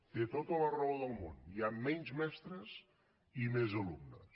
té tota la raó del món hi han menys mestres i més alumnes